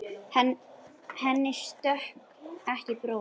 Henni stökk ekki bros.